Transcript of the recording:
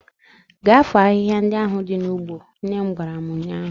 Gaa foo ahihia ndị ahụ dị n'ugbo! nnem gwara m ụnyaahụ.